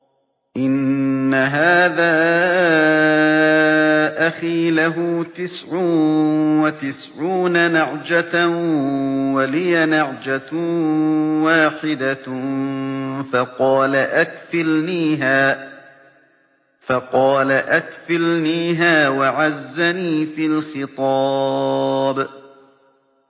إِنَّ هَٰذَا أَخِي لَهُ تِسْعٌ وَتِسْعُونَ نَعْجَةً وَلِيَ نَعْجَةٌ وَاحِدَةٌ فَقَالَ أَكْفِلْنِيهَا وَعَزَّنِي فِي الْخِطَابِ